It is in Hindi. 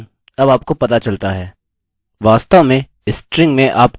वास्तव में स्ट्रिंग में आप कुछ भी बदल सकते हैं एक शुरुआती वेल्यू और एक अंत की वेल्यू के साथ